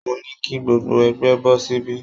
Mo ní kí gbogbo ẹgbẹ́ bọ́ síbí